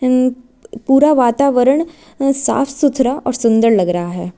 यह एक पूरा वातावरण साफ सुथरा और सुंदर लग रहा है।